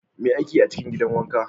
Me ake yi a cikin gidan wanka?